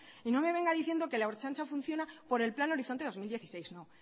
y no me venga diciendo que la ertzaintza funciona por el plan horizonte dos mil dieciséis